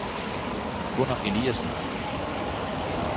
Gunner Eliasen